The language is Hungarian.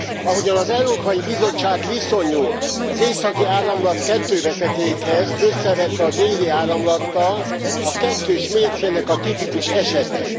Ahogyan az Európai Bizottság viszonyul az Északi Áramlat 2 vezetékhez, összevetve a Déli Áramlattal, a kettős mércének a tipikus esete.